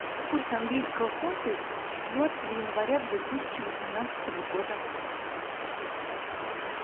курс английского фунта четвертого января две тысячи восемнадцатого года